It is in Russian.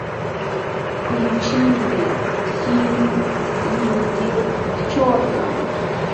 включи мне фильм люди в черном